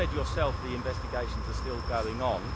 You said yourself the investigations are still going on.